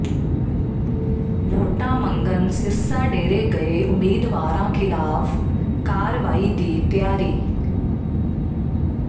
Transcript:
ਵੋਟਾਂ ਮੰਗਣ ਸਿਰਸਾ ਡੇਰੇ ਗਏ ਉਮੀਦਵਾਰਾਂ ਖ਼ਿਲਾਫ਼ ਕਾਰਵਾਈ ਦੀ ਤਿਆਰੀ